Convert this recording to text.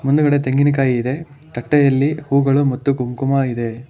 ಮುಂದುಗಡೆ ತೆಂಗಿನಕಾಯಿ ಇದೆ ತಟ್ಟೆಯಲ್ಲಿ ಹೂಗಳು ಮತ್ತು ಕುಂಕುಮ ಇದೆ.